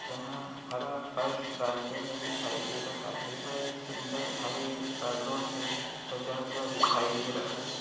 जहा हरा फर्श रास्ते मे दिखाई दे रहा है बड़े सुन्दर हरे पर्दो से सजा हुआ दिखाई दे रहा है ।